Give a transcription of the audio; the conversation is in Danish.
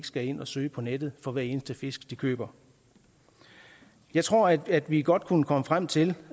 skal ikke ind og søge på nettet for hver eneste fisk de køber jeg tror at vi godt kunne komme frem til